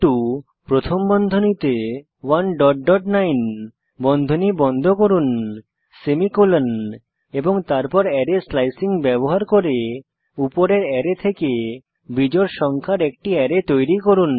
myArray প্রথম বন্ধনীতে 19 বন্ধনী বন্ধ করুন সেমিকোলন এবং তারপর অ্যারে স্লায়সিং ব্যবহার করে উপরের অ্যারে থেকে বিজোড় সংখ্যার একটি অ্যারে তৈরী করুন